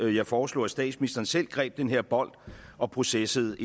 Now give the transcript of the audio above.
jeg foreslog at statsministeren selv greb den her bold og processede